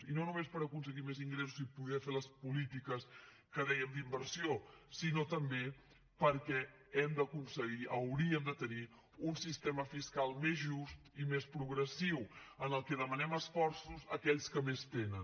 i no només per aconseguir més ingressos i poder fer les polítiques que dèiem d’inversió sinó també perquè hem d’aconseguir hauríem de tenir un sistema fiscal més just i més progressiu en què demanem esforços a aquells que més tenen